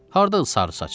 Hardadır sarısaç?